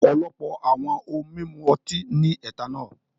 Ọ̀pọ̀lọpọ̀ àwọn ohun mímu ọtí ní ethanol.